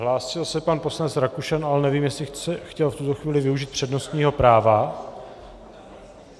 Hlásil se pan poslanec Rakušan, ale nevím, jestli chtěl v tuto chvíli využít přednostního práva.